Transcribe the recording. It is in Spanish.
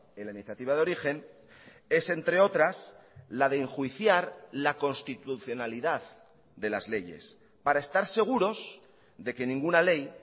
en la iniciativa de origen es entre otras la de enjuiciar la constitucionalidad de las leyes para estar seguros de que ninguna ley